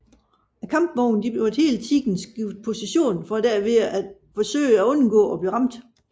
Kampvognene måtte hele tiden skifte position for derved at forsøge at undgå at blive ramt